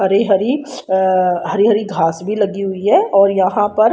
हरी हरी हरि हरि घास भी लगी हुई है और यहां पर--